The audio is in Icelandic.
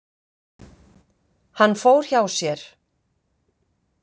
Hann fór hjá sér.